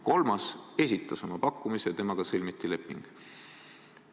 Kolmas esitas oma pakkumise ja temaga sõlmiti leping.